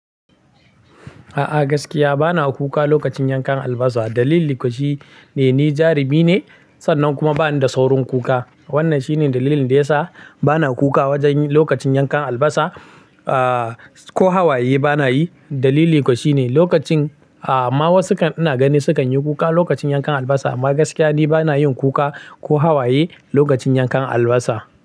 A'a gaskiya bana kuka lokacin yankan albasa. Dalili kuwa, shi ne ni jarumi ne, sannan kuma bani da saurin kuka. Wannan shine dalilin da yasa bana kuka wajen lokacin yankan albasa, ah ko hawaye bana yi. Dalili kuwa shine lokacin, ah amma wasu kan ina gani sukan yi kuka lokacin yankan albasa amma gaskiya ni bana yin kuka, ko hawaye lokacin yankan albasa.